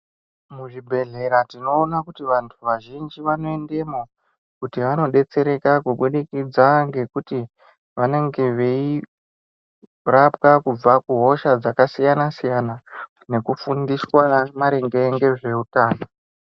Muzvibhehlera tinoona kuti vantu vazhinji vanoendemo kuti vanodetsereka kuburikidza ngekuti vanenge veirapwa kubva kuhosha dzakasiyana-siyana nekufundiswa maringe ngezveutano.